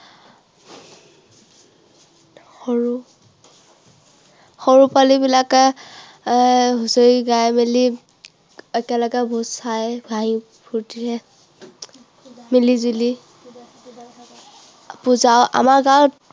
সৰু, সৰু পোৱালীবিলাকে হুঁচৰি গাই মেলি একেলগে ভোজ খাই খাই ফুৰ্তিৰে মিলিজুলি, পূজা, আমাৰ গাঁৱত